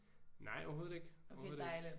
Nej overhovedet ikke. Overhovedet ikke